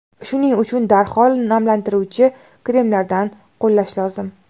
Shuning uchun darhol namlantiruvchi kremlardan qo‘llash lozim.